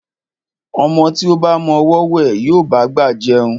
Ọmọ tí ó ba mọ ọwọ́ wẹ̀, yóò bá'gbà jẹun.